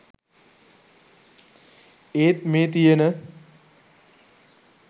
ඒත් මේ තියෙන